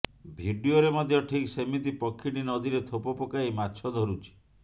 ଭିଡିଓରେ ମଧ୍ୟ ଠିକ୍ ସେମିତି ପକ୍ଷୀଟି ନଦୀରେ ଥୋପ ପକାଇ ମାଛ ଧରୁଛି